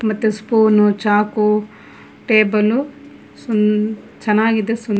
ಮತ್ತು ಸ್ಪೂನು ಚಾಕು ಟೇಬಲ್ ಚೆನ್ನಾಗಿದೆ ಸುಂದ--